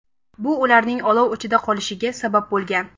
Bu ularning olov ichida qolishiga sabab bo‘lgan.